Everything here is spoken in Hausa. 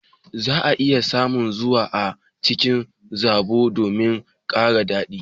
za a iya sa zuma a cikin zobo domin kara dadi